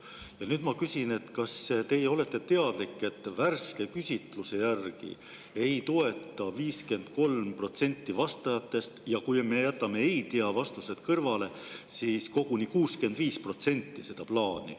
Ja nüüd ma küsin, kas teie olete teadlik, et värske küsitluse järgi ei toeta 53% vastajatest, ja kui me jätame ei-tea-vastused kõrvale, siis koguni 65% seda plaani.